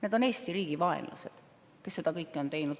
Need on Eesti riigi vaenlased, kes seda kõike on teinud.